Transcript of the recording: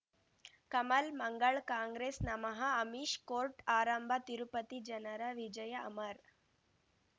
ಕಮಲ್ ಮಂಗಳ್ ಕಾಂಗ್ರೆಸ್ ನಮಃ ಅಮಿಷ್ ಕೋರ್ಟ್ ಆರಂಭ ತಿರುಪತಿ ಜನರ ವಿಜಯ ಅಮರ್